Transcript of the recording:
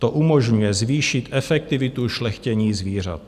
To umožňuje zvýšit efektivitu šlechtění zvířat.